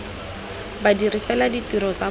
badiri fela ditiro tsa bona